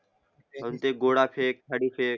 म्हणजे गोळा फेक आणि